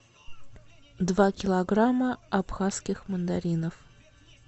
два килограмма абхазских мандаринов